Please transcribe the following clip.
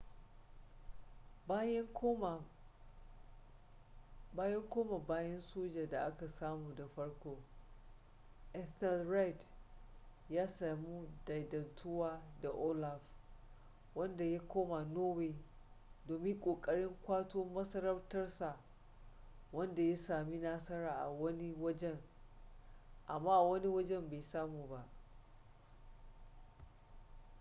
bayan koma bayan soja da aka samu da farko ethelred ya sami daidaituwa da olaf wanda ya koma norway domin kokarin kwato masarautar sa wadda ya sami nasara a wani wajen amma a wani wajen bai samu ba